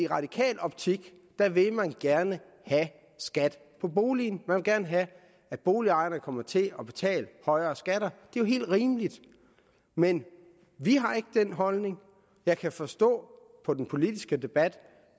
radikal optik vil man gerne have skat på boligen man vil gerne have at boligejerne kommer til at betale højere skatter det er jo helt rimeligt men vi har ikke den holdning og jeg kan forstå på den politiske debat